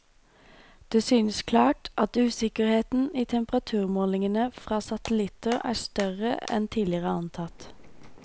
Det synes klart at usikkerheten i temperaturmålingene fra satellitter er større enn tidligere antatt.